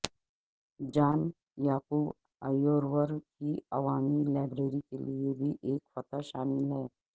جان یعقوب ایورور کی عوامی لائبریری کے لئے بھی ایک فتح شامل ہے